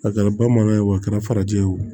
A kɛra bamanan ye wo a kɛra farajɛ ye wo